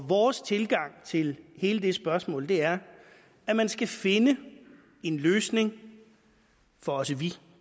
vores tilgang til hele det spørgsmål er at man skal finde en løsning for også vi